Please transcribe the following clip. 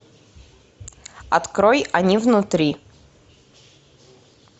открой они внутри